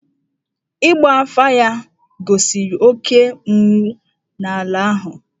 Ịgba afà ya gosiri oké ụnwụ n’ala ahụ.